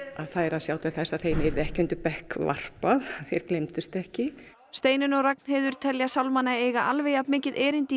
þær að sjá til þess að þeim yrði ekki undir bekk varpað þeir gleymdust ekki Steinunn og Ragnheiður telja eiga alveg jafn mikið erindi í